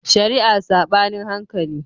Shari'a Saɓanin hankali